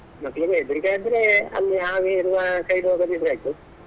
ಮಕ್ಳಿಗೆ ಹೆದ್ರಿಕೆ ಆದ್ರೆ ಅಲ್ಲಿ ಹಾವು ಇರುವ side ಹೋಗದಿದ್ರೆ ಆಯ್ತು.